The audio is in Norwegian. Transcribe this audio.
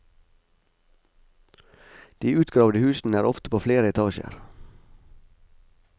De utgravde husene er ofte på flere etasjer.